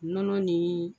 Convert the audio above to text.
Nɔnɔ ni